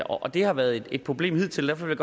år og det har været et problem hidtil derfor vil